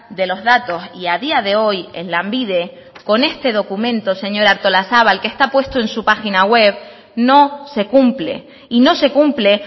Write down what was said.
de los datos y a día de hoy en lanbide con este documento señora artolazabal que está puesto en su página web no se cumple y no se cumple